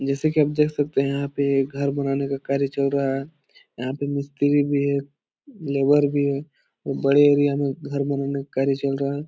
जैसा की आप देख सकते हैं यहाँ पे एक घर बनाने का कार्य चल रहा है यहाँ पे मिस्त्री भी है लेबर भी है बड़े एरिया में घर बनाने का कार्य चल रहा है ।